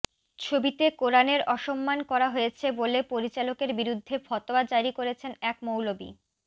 ছবিতে কোরানের অসম্মান করা হয়েছে বলে পরিচালকের বিরুদ্ধে ফতোয়া জারি করেছেন এক মৌলবি